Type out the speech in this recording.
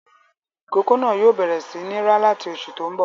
Ìkókó náà yóò bẹ̀rẹ̀ sí ní rá láti oṣù tó ń bọ̀.